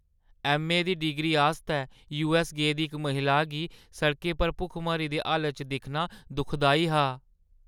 MA दी degree आस्तै यूऐस्स गेदी इक महिला गी सड़कें पर भुखमरी दी हालती च दिक्खना दुखदाई हा।